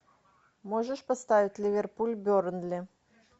можешь поставить ливерпуль бернли